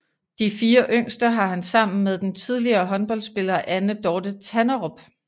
De fire yngste har han sammen med den tidligere håndboldspiller Anne Dorthe Tanderup